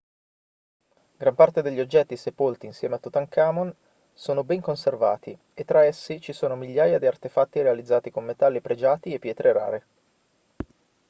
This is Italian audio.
gran parte degli oggetti sepolti insieme a tutankhamon sono ben conservati e tra essi ci sono migliaia di artefatti realizzati con metalli pregiati e pietre rare